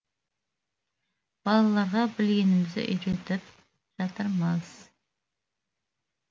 балаларға білгенімізді үйретіп жатырмыз